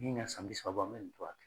Me ka san bi saba bɔ an bɛ nin cogoya kan